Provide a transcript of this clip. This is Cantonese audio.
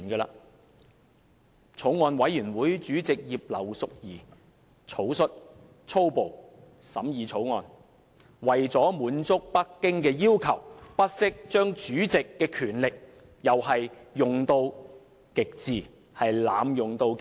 法案委員會主席葉劉淑儀議員草率、粗暴地審議《條例草案》，而為了滿足北京的要求，更不惜把主席的權力用到極致，濫用到極致。